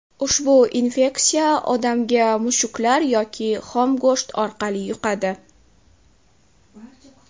Ushbu infeksiya odamga mushuklar yoki xom go‘sht orqali yuqadi.